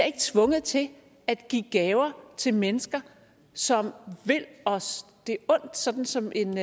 ikke tvunget til at give gaver til mennesker som vil os det ondt sådan som en